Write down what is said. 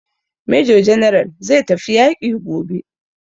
Major general zai tafi yaƙi gobe.